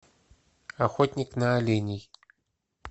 охотник на оленей